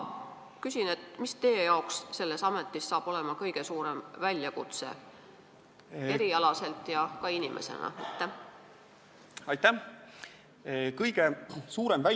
Mis saab teie jaoks selles ametis olema kõige suurem väljakutse nii erialaselt kui ka lihtsalt inimesena?